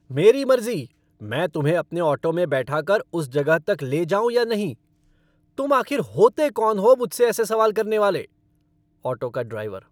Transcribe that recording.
मेरी मर्ज़ी मैं तुम्हें अपने ऑटो में बैठाकर उस जगह तक ले जाऊँ या नहीं। तुम आखिर होते कौन हो मुझसे ऐसे सवाल करने वाले? ऑटो का ड्राइवर